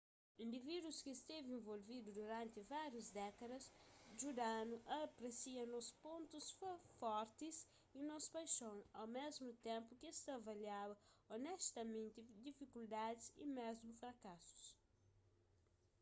indivídus ki stevi involvidu duranti várius dékadas djuda-nu a apresia nos pontus fortis y nos paixon au mésmu ténpu ki es ta avaliaba osnestamenti difikuldadis y mésmu frakasus